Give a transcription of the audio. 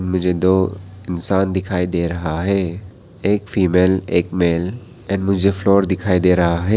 मुझे दो इंसान दिखाई दे रहा है एक फीमेल एक मेल एंड मुझे फ्लोर दिखाई दे रहा है।